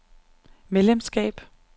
medlemskab